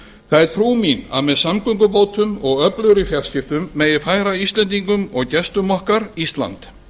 það er trú mín að með samgöngubótum og öflugri fjarskiptum megi færa íslendingum og gestum okkar ísland